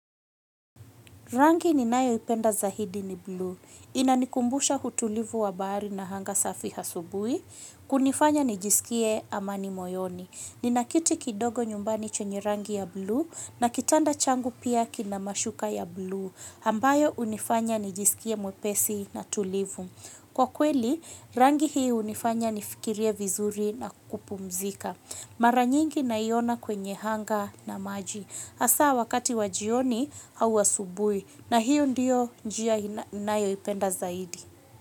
Rangi ninayoipenda zaidi ni blue, inanikumbusha utulivu wa bahari na anga safi asubuhi, kunifanya nijisikie amani moyoni. Nina kiti kidogo nyumbani chenye rangi ya blue na kitanda changu pia kina mashuka ya blue, ambayo hunifanya nijisikie mwepesi na tulivu. Kwa kweli, rangi hii hunifanya nifikirie vizuri na kupumzika. Mara nyingi naiona kwenye hanga na maji. Hasa wakati wa jioni au asubuhi na hiyo ndiyo njia ninayoipenda zaidi.